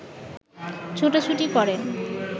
ছোটাছুটি করেন